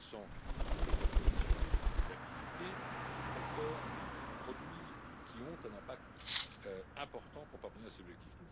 L'accent doit être mis sur des activités, des secteurs et des produits qui ont un impact important pour parvenir à ces objectifs.